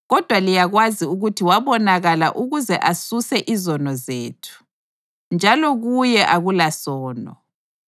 Kodwa liyakwazi ukuthi wabonakala ukuze asuse izono zethu. Njalo kuye akulasono.